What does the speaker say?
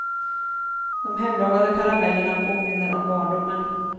De hemlagade karamellerna påminner om barndomen.